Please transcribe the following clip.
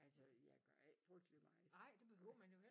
Altså jeg gør ikke frygtelig meget nej